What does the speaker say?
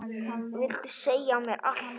Vildi segja mér allt.